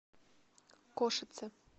кошице